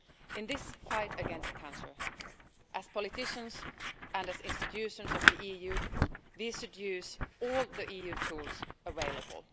In this fight against cancer, as politicians and as institutions of the EU, we should use all the EU tools available.